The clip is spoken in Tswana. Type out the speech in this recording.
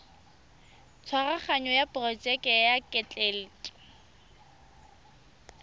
tshwaraganyo ya porojeke ya ketleetso